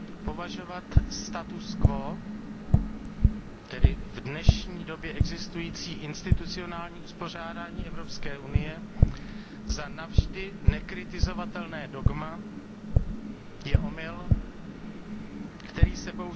Považovat status quo, tedy v dnešní době existující institucionální uspořádání Evropské unie, za navždy nekritizovatelné dogma je omyl, který se